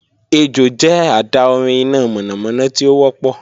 Ejò jẹ adaorin ina mọnamọna ti o wọpọ